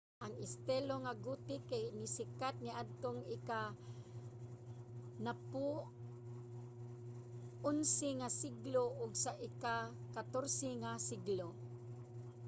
ang estilo nga gothic kay nisikat niadtong ika-10-11 nga siglo ug sa ika-14 nga siglo